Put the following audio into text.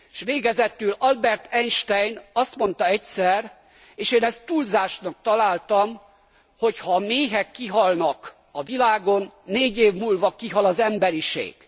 S végezetül Albert Einstein azt mondta egyszer, és én ezt túlzásnak találtam, hogy ha a méhek kihalnak a világon, négy év múlva kihal az emberiség.